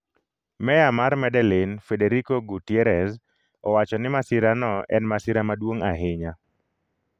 Meya mar Medellin, Federico Gutierrez, owacho ni masira no en "masira maduong' ahinya".